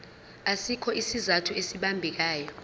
asikho isizathu esibambekayo